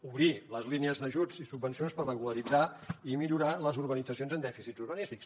obrir les línies d’ajuts i subvencions per regularitzar i millorar les urbanitzacions amb dèficits urbanístics